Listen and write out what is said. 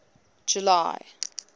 july